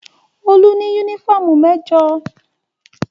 Olú ní únífọ́ọ́mù mẹ́jọ.